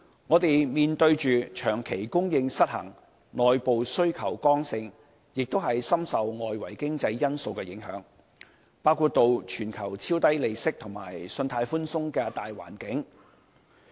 我們房屋的供求長期失衡、內部需求剛性，問題亦深受外圍經濟因素影響，包括全球超低利息及信貸寬鬆的大環境。